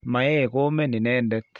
maee Komen inendet